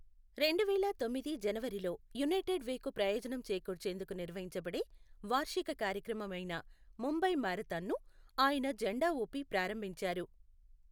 రెండువేల తొమ్మిది జనవరిలో, యునైటెడ్ వేకు ప్రయోజనం చేకూర్చేందుకు నిర్వహించబడే వార్షిక కార్యక్రమం అయిన ముంబై మారథాన్ను ఆయన జెండా ఊపి ప్రారంభించారు.